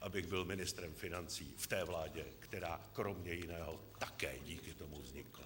abych byl ministrem financí v té vládě, která kromě jiného také díky tomu vznikla.